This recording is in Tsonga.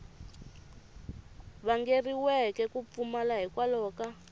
vangeriweke ku pfumala hikwalaho ka